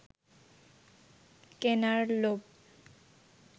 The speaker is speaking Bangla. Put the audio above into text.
কেনার লোভ